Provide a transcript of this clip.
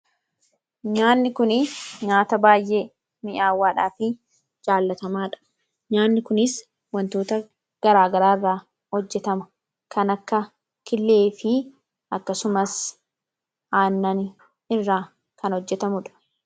nyaanni kun nyaata baay'ee mi'aawwaadhaa fi jaallatamaadha .nyaanni kunis wantoota garaagaraa irraa hojjetama; kan akka killee fi akkasumas aannan irraa kan hojjetamuudha.